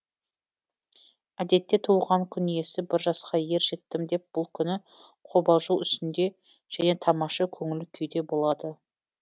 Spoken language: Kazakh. әдетте туылған күн иесі бір жасқа ер жеттім деп бұл күні қобалжу үстінде және тамаша көңіл күйде болады